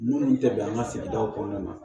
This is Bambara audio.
Minnu tɛ bɛn an ka sigidaw kɔnɔna na